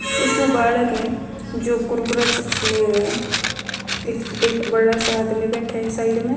इसमें बालक ह जो कुरकुरा चिप्स ले रयो ह एक एक बड़ा सा आदमी बैठ्या ह साइड म.